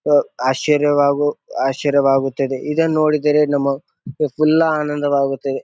ಆಹ್ಹ್ ಆಶ್ಚರ್ಯವಾಗು ಆಶ್ಚರ್ಯವಾಗುತ್ತದೆ ಇದನ್ ನೋಡಿದರೆ ನಮಗ್ ಫುಲ್ಲ ಆನಂದವಾಗುತ್ತದೆ.